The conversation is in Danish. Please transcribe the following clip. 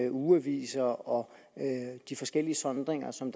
ugeaviser og de forskellige sondringer som